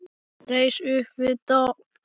Reis upp við dogg.